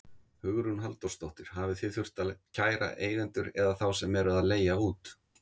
Hugrún Halldórsdóttir: Hafið þið þurft að kæra eigendur eða þá sem eru að leigja út?